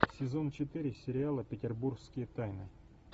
сезон четыре сериала петербургские тайны